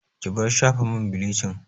Ki bar shafa man bilicin!